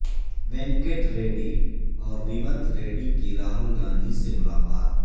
وینکٹ ریڈی اور ریونت ریڈی کی راہول گاندھی سے ملاقات